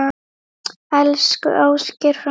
Elsku Ásgeir frændi.